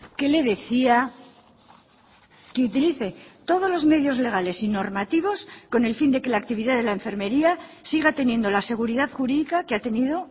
que le decía que utilice todos los medios legales y normativos con el fin de que la actividad de la enfermería siga teniendo la seguridad jurídica que ha tenido